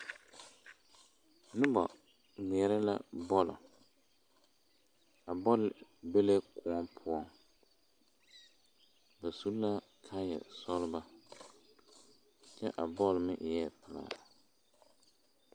Noba ŋmeɛrɛ la bɔl a bɔl be la kõɔ poɔ ba su la kaaya sɔglɔ kyɛ a bɔl meŋ eɛ pelaa.